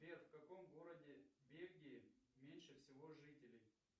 сбер в каком городе бельгии меньше всего жителей